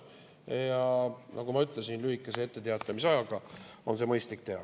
Ja nagu ma ütlesin, lühikese etteteatamisajaga on see mõistlik teha.